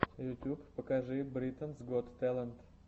ютуб покажи британс гот тэлэнт